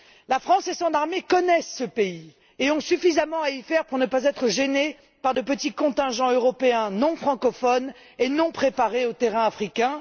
La France et son armée connaissent ce pays et ont suffisamment à y faire pour ne pas être gênée par de petits contingents européens non francophones et non préparés au terrain africain.